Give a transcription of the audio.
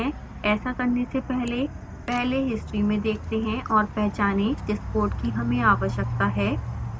ऐसा करने से पहले पहले हिस्ट्री में देखते हैं और पहचानें जिस कोड की हमें आवश्यकता है